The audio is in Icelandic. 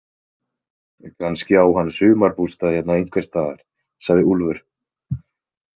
Kannski á hann sumarbústað hérna einhvers staðar, sagði Úlfur.